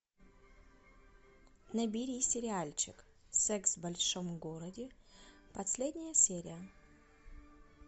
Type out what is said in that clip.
набери сериальчик секс в большом городе последняя серия